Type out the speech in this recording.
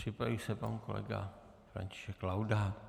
Připraví se pan kolega František Laudát.